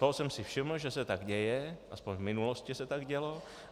Toho jsem si všiml, že se tak děje, aspoň v minulosti se tak dělo.